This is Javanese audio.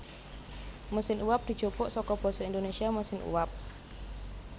Mesin uwab dijupuk saka basa Indonésia mesin uap